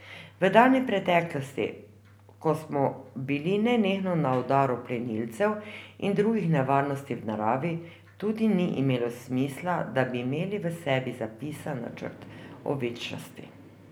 V daljni preteklosti, ko smo bili nenehno na udaru plenilcev in drugih nevarnosti v naravi, tudi ni imelo smisla, da bi imeli v sebi zapisan načrt o večnosti.